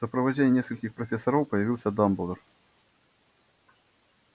в сопровождении нескольких профессоров появился дамблдор